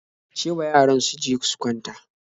Ce wa yaran su je su kwanta